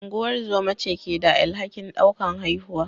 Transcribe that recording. Ungozoma ce ke da alhakin daukar haihuwa.